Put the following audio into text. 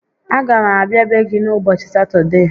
A ga m abịa be gị n'ubọchị Satọdee